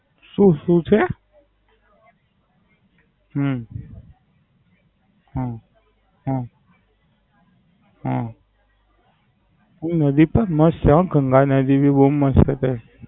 શું શું છે? હમ હમ હમ હમ એ નદી પર નો શોખ માં ભી બવ મસ્ત છે.